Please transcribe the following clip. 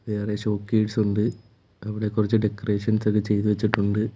വേറെ ഷോക്കേഴ്സ് ഉണ്ട് അവിടെ കുറച്ച് ഡെക്കറേഷൻസ് ഒക്കെ ചെയ്തു വെച്ചിട്ടുണ്ട്.